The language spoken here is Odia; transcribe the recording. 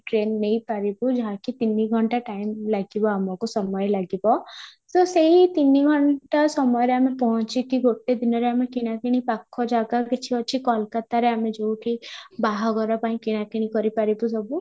train ନେଇ ପାଇବୁ ଯାହାକି ତିନି ଘଣ୍ଟା time ଲାଗିବ ଆମକୁ ସମୟ ଲାଗିବ, ତ ସେଇ ତିନି ଘଣ୍ଟା ସମୟରେ ପହଞ୍ଚି କି ଗୋଟେ ଦିନରେ କିଣାକିଣି ପାଖ ଜାଗାରେ କିଛି ଅଛି କୋଲକାତାରେ ଆମେ ଯଉଠି ବାହାଘର ପାଇଁ କିଣାକିଣି କରି ପାରିବୁ ସବୁ